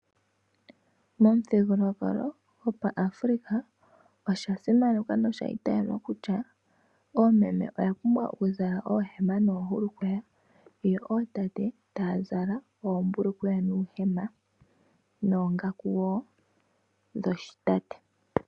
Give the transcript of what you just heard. Momuthigululwakalo gopaAfrika osha simanekwa nosha itayelwa kutya oomeme oya pumbwa okuzala oohema noohulukweya yo otaate taya zala ombulukweya nuuhema noongaku wo dhoshi tate.